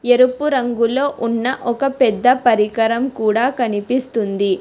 ఎరుపు రంగులో ఉన్న ఒక పెద్ద పరికరం కూడా కనిపిస్తోంది.